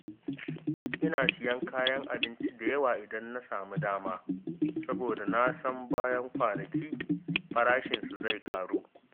Ina siyan kayan abinci da yawa idan na samu dama, saboda na san bayan kwanaki farashinsu zai ƙaru.